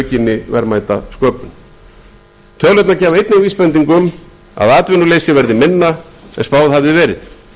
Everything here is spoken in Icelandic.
aukinni verðmætasköpun tölurnar gefa einnig vísbendingu um að atvinnuleysi verði minna en spáð hafði verið ríkisstjórnin